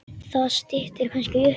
Það styttir kannski upp.